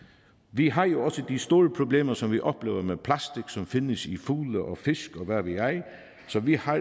vi har jo også de store problemer som vi oplever med plastik som findes i fugle og fisk og hvad ved jeg så vi har